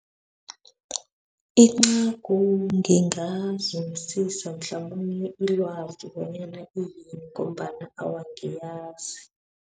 Incagu ngingazumisisa mhlamunye ilwazi bonyana iyini, ngombana awa angiyazi.